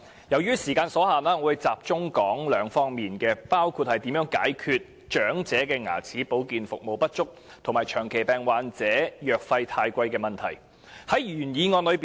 由於時間所限，我會集中談兩方面事宜，包括如何解決長者牙齒保健服務不足，以及長期病患者藥費過高的問題。